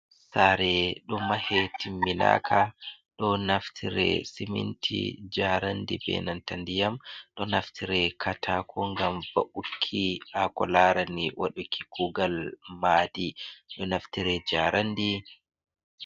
Saare ɗo mahe timminaaka do naftire siminti, njaaraandi, bee nanta ndiyam. Ɗo naftire kaataako ngam wa`ukki haa ko laarani waɗuki kuugal maadi, ɗo naftire njaaraandi.